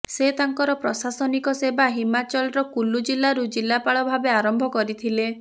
ସେ ତାଙ୍କର ପ୍ରଶାସନିକ ସେବା ହିମାଚଳର କୁଲୁଜିଲାରୁ ଜିଲାପାଳ ଭାବେ ଆରମ୍ଭ କରିଥିଲେ